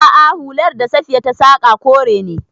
A'a, hular da Safiya ta saƙa kore ne.